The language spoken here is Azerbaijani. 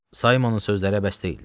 Saymonun sözləri bəs deyildi.